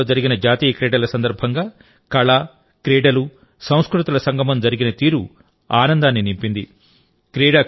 అహ్మదాబాద్లో జరిగిన జాతీయ క్రీడల సందర్భంగా కళ క్రీడలుసంస్కృతుల సంగమం జరిగిన తీరు ఆనందాన్ని నింపింది